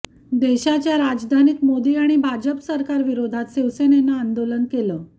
देशाच्या राजधानीत मोदी आणि भाजप सरकाविरोधात शिवसेनेनं आंदोलन केलं